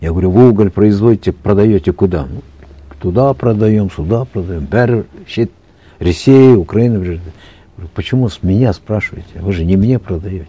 я говорю вы уголь производите продаете куда туда продаем сюда продаем бәрі шет ресей украина бір жерде почему с меня спрашиваете вы же не мне продаете